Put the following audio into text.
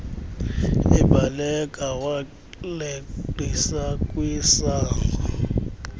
ebaleka waleqisa kwisango